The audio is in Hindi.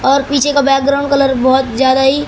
और पीछे का बैकग्राउंड कलर बहोत ज्यादा ही--